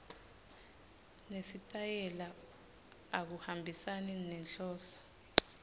nesitayela akuhambisani nenhloso